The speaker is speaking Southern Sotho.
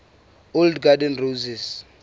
old garden roses